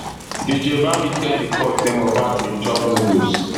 dj bami tell di court say mohbad bin chop noodles